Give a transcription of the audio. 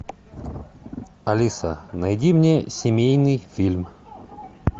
алиса найди мне семейный фильм